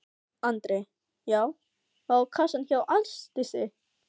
Andri: Já og á kassann hjá Ásdísi?